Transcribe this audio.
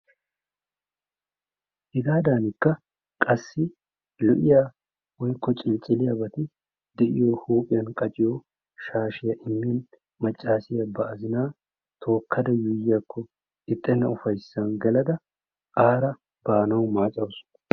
Hegaadankka qassi lo'iya woykko cilicciliyabati de'iyo huuphphiyan qacciyo shaashiyan maccassiya ba azinaa tookkada yuuyiyakko ixxenna ufayssan geladda aara baanawu maaccaasu.